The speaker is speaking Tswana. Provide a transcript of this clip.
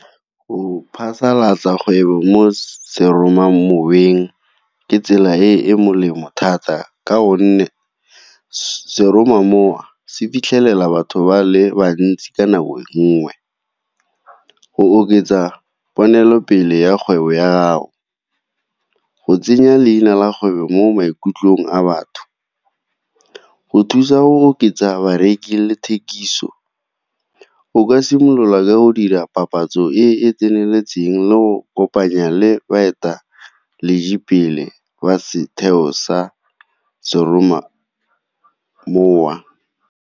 Go phasalatsa kgwebo mo seromamoweng ke tsela e e molemo thata, ka gonne seromamowa se fitlhelela batho ba le bantsi ka nako nngwe. Go oketsa diponelopele ya kgwebo ya gago, go tsenya leina la kgwebo mo maikutlong a batho, go thusa go oketsa bareki le thekiso o ka simolola ka go dira papatso e e tseneletseng le go kopanya le baeteledipele ba setheo sa seromamowa.